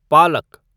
पालक